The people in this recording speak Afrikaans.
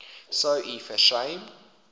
sou u versuim